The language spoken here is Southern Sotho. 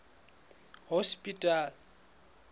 hospital